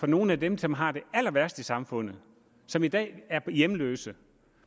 nogle af dem som har det allerværst i samfundet som i dag er hjemløse